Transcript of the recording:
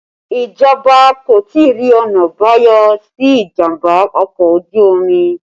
Ìjọba kò tí ì rí ọ̀nà àbáyọ sí ìjàmbá ọkọ̀ ojú omi